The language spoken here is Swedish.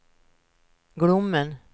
Glommen